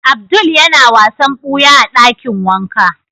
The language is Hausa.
Abdul ya na wasan buya a dakin wanka.